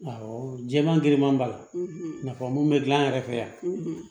Awɔ jɛman girinman b'a la nafolo mun be gilan yɛrɛ fɛ yan